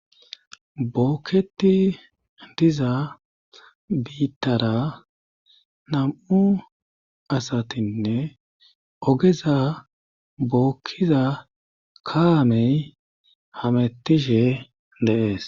Bookketi diza biittara nam'u asatinne ogeza bookkiza kaamey hamettishe dees.